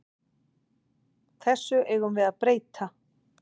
Þessu eigum við að breyta.